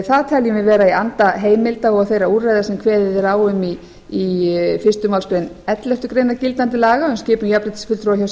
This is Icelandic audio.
það teljum við vera í anda heimilda og þeirra úrræða sem kveðið er á um í fyrstu málsgrein elleftu grein gildandi laga um skipun jafnréttisfulltrúa hjá